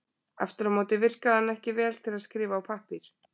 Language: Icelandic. Aftur á móti virkaði hann ekki vel til að skrifa á pappír.